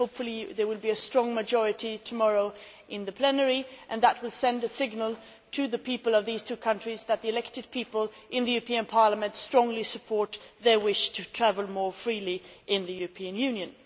Hopefully, there will be a big majority tomorrow in the plenary and that will send a signal to the people of these two countries that the elected Members of the European Parliament strongly support their wish to travel more freely in the European Union.